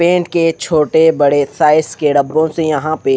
paint के छोटे बड़े साइज के डब्बों से यहां पे--